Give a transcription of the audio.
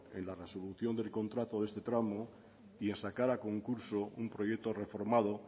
en la resolución del contrato de este tramo y en sacar a concurso un proyecto reformado